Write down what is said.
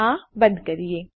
આ બંધ કરીએ